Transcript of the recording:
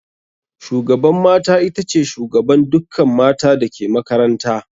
Shugaban mata itace shugaban dukkan mata dake makaranta